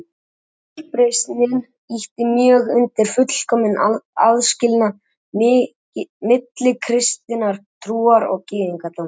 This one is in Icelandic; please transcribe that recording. Fyrri uppreisnin ýtti mjög undir fullkominn aðskilnað milli kristinnar trúar og gyðingdóms.